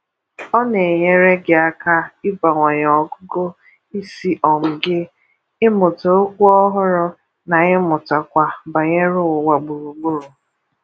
Ọ na-enyere gị aka ịbawanye ọgụgụ isi um gị, ịmụta okwu ọhụrụ, na ịmụtakwa banyere ụwa gburu gburu.